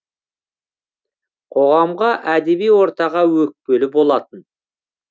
қоғамға әдеби ортаға өкпелі болатын